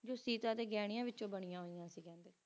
ਜੋ ਸੀਤਾ ਦੇ ਘਹਿਨਾਯ ਵਿੱਚੋ ਬਣਿਆ ਹੁਈਆਂ ਸੀ ਕਹਿੰਦੇ